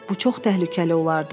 Bu çox təhlükəli olardı.